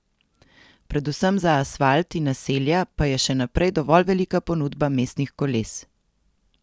Predvsem za asfalt in naselja pa je še naprej dovolj velika ponudba mestnih koles.